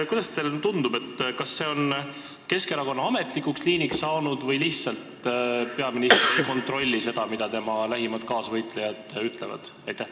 Kuidas teile tundub, kas see on Keskerakonna ametlikuks liiniks saanud või lihtsalt peaminister ei kontrolli seda, mida tema lähimad kaasvõitlejad ütlevad?